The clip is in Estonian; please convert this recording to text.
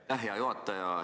Aitäh, hea juhataja!